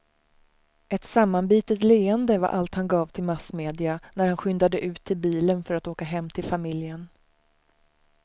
Ett sammanbitet leende var allt han gav till massmedia när han skyndade ut till bilen för att åka hem till familjen.